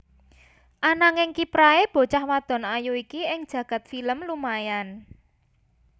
Ananging kiprahé bocah wadon ayu iki ing jagad film lumayan